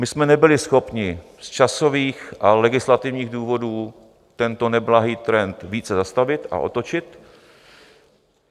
My jsme nebyli schopni z časových a legislativních důvodů tento neblahý trend více zastavit a otočit.